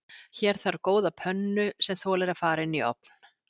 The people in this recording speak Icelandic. Hér þarf góða pönnu sem þolir að fara inn í ofn.